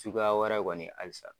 Suguya wɛrɛ kɔni halisa.